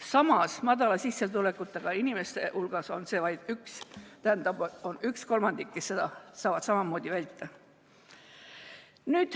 Samas, madala sissetulekuga inimeste hulgas on vaid 1/3 neid, kes saavad samamoodi väita.